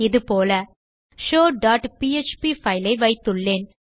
இது போல show dot PHP file ஐ வைத்துள்ளேன்